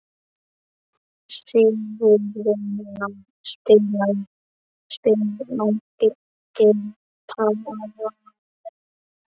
Sigurjóna, spilaðu lagið „Paranoia“.